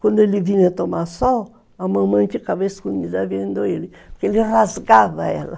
Quando ele vinha tomar sol, a mamãe ficava escondida vendo ele, porque ele rasgava ela.